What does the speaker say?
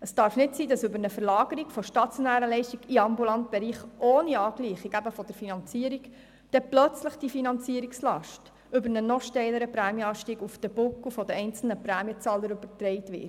Es darf nicht sein, dass die Finanzierungslast über eine Verlagerung von stationären Leistungen in den ambulanten Bereich ohne Angleichung eben der Finanzierung dann plötzlich über einen noch steileren Prämienanstieg auf die Buckel der einzelnen Prämienzahler übertragen wird.